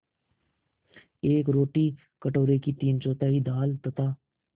एक रोटी कटोरे की तीनचौथाई दाल तथा